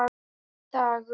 Einn dagur!